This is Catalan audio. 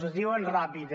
es diuen ràpid